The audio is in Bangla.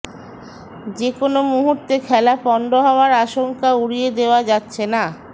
যে কোনও মুহূর্তে খেলা পণ্ড হওয়ার আশঙ্কা উড়িয়ে দেওয়া যাচ্ছে না